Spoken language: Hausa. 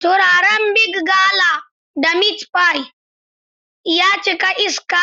Turaren Big gala da Meat pie ya cika iska